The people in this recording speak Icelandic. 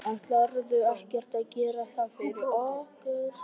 Ætlarðu ekkert að gera það fyrir okkur?